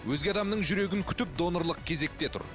өзге адамның жүрегін күтіп донорлық кезекте тұр